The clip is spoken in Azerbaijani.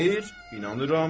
Xeyr, inanıram.